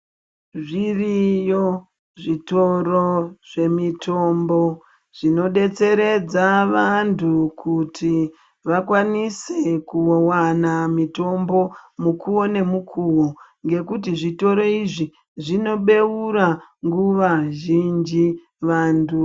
Zviriyo zvitoro zvemitombo zvinodetseredza vantu kuti vakwanise kuvana mitombo mukuvo nemukuvo. Nekuti zvitoro izvi zvinobeura nguva zhinji vantu.